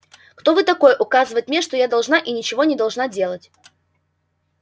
кто вы такой указывать мне что я должна и ничего не должна делать